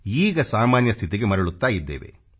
ಈಗ ಸಾಮಾನ್ಯ ಸ್ಥಿತಿಗೆ ಮರಳುತ್ತಾ ಇದ್ದೇವೆ